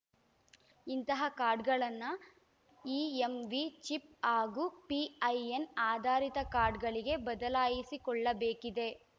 ಇಂತಹ ಕಾರ್ಡ್‌ಗಳನ್ನ EMV chip ಹಾಗೂ ಪಿಐಎನ್‌ ಆಧಾರಿತ ಕಾರ್ಡ್‌ಗಳಿಗೆ ಬದಲಾಯಿಸಿಕೊಳ್ಳಬೇಕಿದೆ